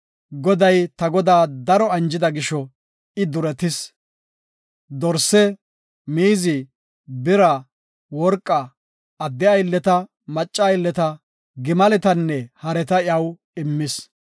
Goday ta godaa daro anjida gisho I duretis. Dorse, miizi, bira, worqa, adde aylleta, macca aylleta, gimaletanne hareta iyaw immis.